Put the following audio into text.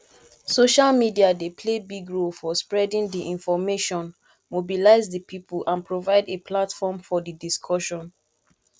social media dey play big role for spreading di information mobilize di people and provide a platform for di discussion